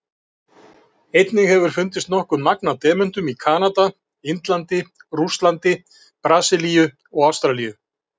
Einnig hefur fundist nokkuð magn af demöntum í Kanada, Indlandi, Rússlandi, Brasilíu og Ástralíu.